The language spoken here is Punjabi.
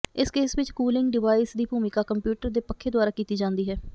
ਇਸ ਕੇਸ ਵਿਚ ਕੂਲਿੰਗ ਡਿਵਾਈਸ ਦੀ ਭੂਮਿਕਾ ਕੰਪਿਊਟਰ ਦੇ ਪੱਖੇ ਦੁਆਰਾ ਕੀਤੀ ਜਾਂਦੀ ਹੈ